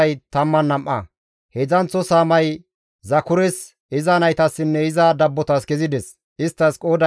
Heedzdzanththo saamay Zakures, iza naytassinne iza dabbotas kezides; isttas qooday 12.